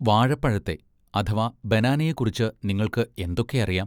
വാഴപ്പഴത്തെ, അഥവാ ബാനാനയെക്കുറിച്ച്‌ നിങ്ങൾക്ക് എന്തൊക്കെയറിയാം?